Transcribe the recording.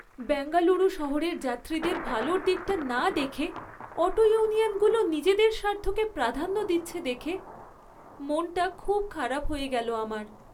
বেঙ্গালুরু শহরের যাত্রীদের ভালোর দিকটা না দেখে অটো ইউনিয়নগুলো নিজেদের স্বার্থকে প্রাধান্য দিচ্ছে দেখে, মনটা খুব খারাপ হয়ে গেল আমার।